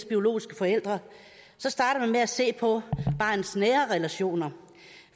biologiske forældre starter man med at se på barnets nære relationer